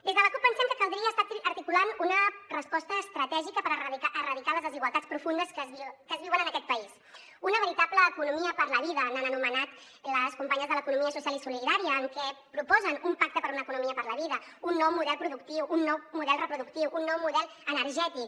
des de la cup pensem que caldria estar articulant una resposta estratègica per erradicar les desigualtats profundes que es viuen en aquest país una veritable economia per a la vida l’han anomenat les companyes de l’economia social i solidària en què proposen un pacte per una economia per la vida un nou model productiu un nou model reproductiu un nou model energètic